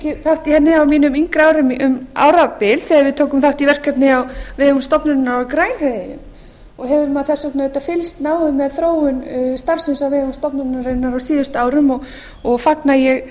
í henni á mínum yngri árum um árabil þegar við tókum gott í verkefni á vegum stofnunarinnar á grænhöfðaeyjum og hefur maður þess vegna auðvitað fylgst náið með þróun starfsins á vegum stofnunarinnar á síðustu árum og fagna ég